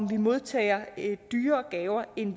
vi modtager dyrere gaver end